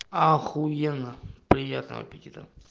ахуенно приятного аппетита